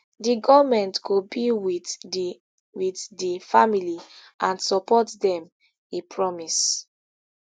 di goment go be with di with di family and support dem e promise